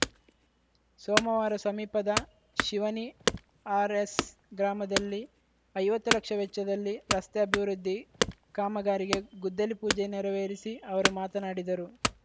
ಸೋಮವಾರ ಸಮೀಪದ ಶಿವನಿ ಆರ್‌ಎಸ್‌ ಗ್ರಾಮದಲ್ಲಿ ಐವತ್ತು ಲಕ್ಷ ವೆಚ್ಚದಲ್ಲಿ ರಸ್ತೆ ಅಭಿವೃದ್ಧಿ ಕಾಮಗಾರಿಗೆ ಗುದ್ದಲಿಪೂಜೆ ನೆರವೇರಿಸಿ ಅವರು ಮಾತನಾಡಿದರು